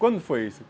Quando foi isso?